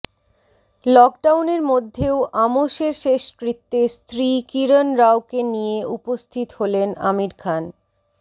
লকডাউনের মধ্যেও আমোসের শেষকৃত্যে স্ত্রী কিরণ রাওকে নিয়ে উপস্থিত হলেন আমির খান